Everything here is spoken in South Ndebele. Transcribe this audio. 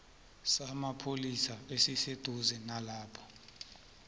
samapholisa esiseduze nalapho